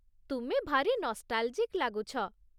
ତୁମେ ଭାରି ନଷ୍ଟାଲ୍ଜିକ୍ ଲାଗୁଛ ।